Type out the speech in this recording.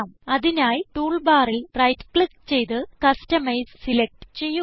അതിനായി ടൂൾ ബാറിൽ right click ചെയ്ത് കസ്റ്റമൈസ് സിലക്റ്റ് ചെയ്യുക